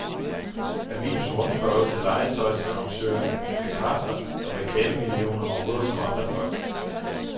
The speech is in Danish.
Avisens rundspørge til legetøjsannoncørerne bekræfter, at reklamemillionerne ruller som aldrig før.